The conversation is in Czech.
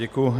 Děkuji.